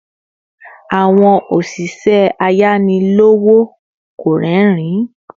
Àwọn oşişẹ ayani lowo kò rerin